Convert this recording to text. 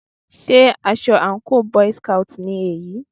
Sé aṣọ àńkò boy's scout ni èyí?